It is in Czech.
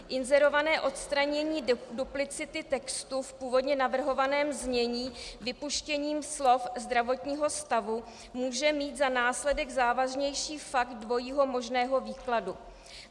Inzerované odstranění duplicity textu v původně navrhovaném znění vypuštěním slov "zdravotního stavu" může mít za následek závažnější fakt dvojího možného výkladu.